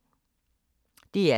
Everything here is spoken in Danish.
DR K